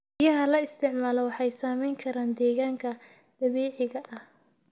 Biyaha la isticmaalo waxay saameyn karaan deegaanka dabiiciga ah.